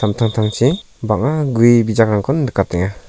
samtangtangchi bang·a gue bijakrangkon nikatenga.